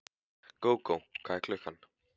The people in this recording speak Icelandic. Gógó, hvað er klukkan?